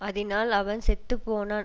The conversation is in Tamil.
அதினால் அவன் செத்து போனான்